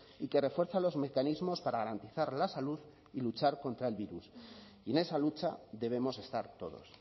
y que refuerza los mecanismos para garantizar la salud y luchar contra el virus y en esa lucha debemos estar todos